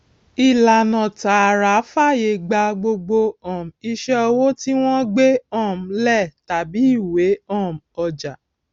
ìlànà tààrà fàyè gba gbogbo um iṣẹ owó tí wọn gbé um lẹ tàbí ìwé um ọjà